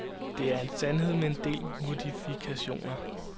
Det er en sandhed med en del modifikationer.